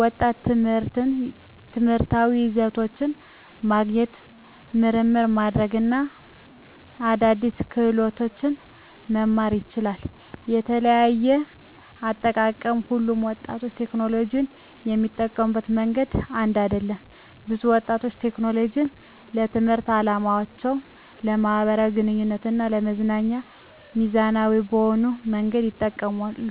ወጣቶች ትምህርታዊ ይዘቶችን ማግኘት፣ ምርምር ማድረግ እና አዳዲስ ክህሎቶችን መማር ይችላሉ። * የተለያየ አጠቃቀም: ሁሉም ወጣቶች ቴክኖሎጂን የሚጠቀሙበት መንገድ አንድ አይደለም። ብዙ ወጣቶች ቴክኖሎጂን ለትምህርታዊ ዓላማዎች፣ ለማኅበራዊ ግንኙነት እና ለመዝናኛ ሚዛናዊ በሆነ መንገድ ይጠቀማሉ። በአጠቃላይ፣ በዕድሜ የገፉ ሰዎች ስጋቶች ትክክለኛ አሳሳቢ ነጥቦች ቢኖራቸውም፣ ቴክኖሎጂ ለወጣቶች የሚያመጣቸውን አዎንታዊ ጥቅሞች ችላ ማለት አይቻልም። ቁም ነገሩ ቴክኖሎጂን በአግባቡ እና በኃላፊነት መጠቀምን ማስተማር ነው።